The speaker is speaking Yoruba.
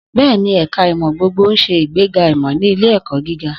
Bẹ́ẹ̀ni, ẹ̀ka ìmọ̀ gbogbogbò ń ṣe ìgbéga ìmọ̀ ní ilé-ẹ̀kọ́ gíga.